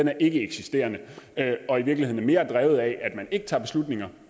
er ikkeeksisterende og i virkeligheden mere er drevet af at man ikke tager beslutninger